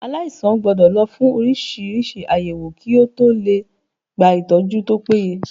Aláìsàn gbọ́dọ̀ lọ fún oríṣiríṣi àyẹ̀wò kí ó tọ lè gba ìtọ́jú tó péye.